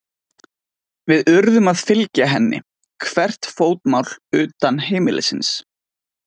Við urðum að fylgja henni hvert fótmál utan heimilisins.